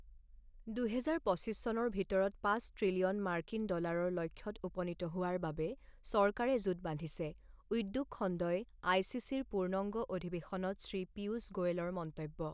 দুহেজাৰ পঁচিছ চনৰ ভিতৰত পাঁচ ত্ৰিলিয়ন মাৰ্কিন ডলাৰ ৰ লক্ষ্যত উপনীত হোৱাৰ বাবে চৰকাৰৰে জোঁট বান্ধিছে উদ্যোগখণ্ডই, আইচিচি ৰ পূৰ্ণংগ অধিৱেশনত শ্ৰী পীয়ুষ গোৱেলৰ মন্তব্য